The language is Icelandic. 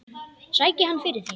Sæki hann fyrir þig.